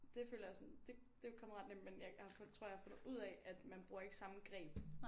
Det føler jeg sådan det det er kommet ret nemt men jeg jeg tror jeg har fundet ud af man bruger ikke samme greb